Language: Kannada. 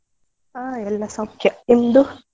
ಹಾ ಎಲ್ಲ ಸೌಖ್ಯ, ನಿಮ್ದು?